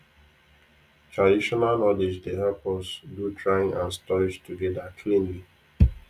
traditional knowledge dey help us do drying and storage together cleanly